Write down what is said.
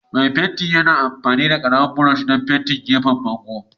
Mai fenti yana amfani da ƙaramin brush don fente gefen bango.